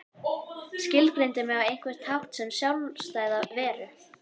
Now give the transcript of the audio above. Skilgreindi mig á einhvern hátt sem sjálfstæða veru.